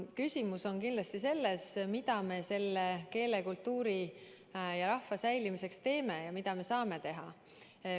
Küsimus on kindlasti selles, mida me eesti keele, kultuuri ja rahva säilimiseks teeme ja mida me saame teha.